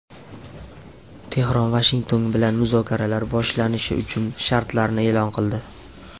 Tehron Vashington bilan muzokaralar boshlanishi uchun shartlarni e’lon qildi.